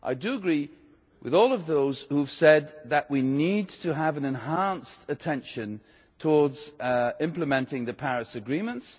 I do agree with all of those who have said that we need to have an enhanced attention towards implementing the Paris agreements.